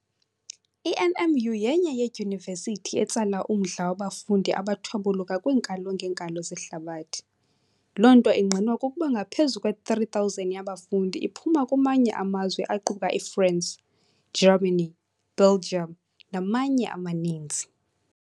I NMU yenye yeeDyunivesithi etsala umdla wabafundi abathwabuluka kwinkalo ngeenkalo zehlabathi, lonto ingqinwa kukuba ngaphezulu kwe 3000 yabafundi iphuma kumanye amazwe aquka i France, Germany, Belgium namanye amaninzi.